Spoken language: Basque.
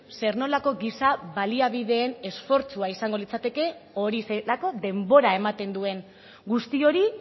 zer nolako giza baliabideen esfortzua izango litzatekeen hori zelako denbora ematen duen guzti hori